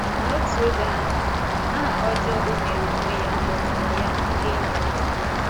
N’otu oge ahụ, aha ọjọọ o meere onwe ya dọtaara ya ndị enyi ọjọọ.